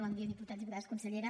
bon dia diputats diputades consellera